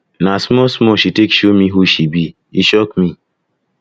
na smallsmall she take show me who she be e shock me